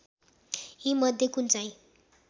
यीमध्ये कुन चाहिँ